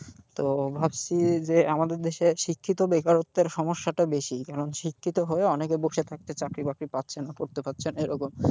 তো ভাবছি যে আমাদের দেশে শিক্ষিত বেকরত্বের সমস্যাটা বেশি কারণ শিক্ষিত হয়েও অনেকে বসে থাকছে চাকরি বাকরি পাচ্ছে না করতে পারছে না এরকম,